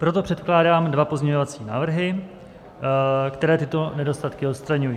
Proto předkládám dva pozměňovací návrhy, které tyto nedostatky odstraňují.